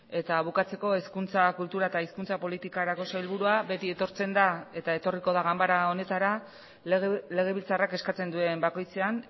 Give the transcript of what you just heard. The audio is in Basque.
eta bukatzeko hezkuntza kultura eta hizkuntza politikarako sailburua beti etortzen da eta etorriko da ganbara honetara legebiltzarrak eskatzen duen bakoitzean